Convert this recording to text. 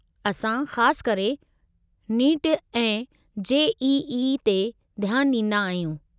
असां ख़ासि करे नीट ऐं जे.ई.ई. ते ध्यानु ॾींदा आहियूं।